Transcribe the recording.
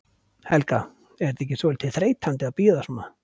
Helga: Er þetta ekki svolítið þreytandi að bíða svona?